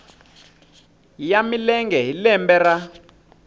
ya milenge hi lembe ra